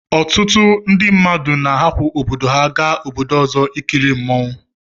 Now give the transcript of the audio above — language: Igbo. Ọtụtụ ndi mmadụ na arapu obodo ha ga obodo ọzọ ikili mụọnwụ